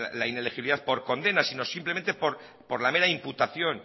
la inelegibilidad por condena sino simplemente por la mera imputación